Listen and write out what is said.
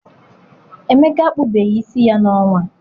Emeka akpụbeghị isi ya n'ọnwa a.